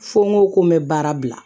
Fo n ko ko n bɛ baara bila